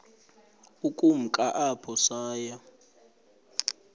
ukumka apho saya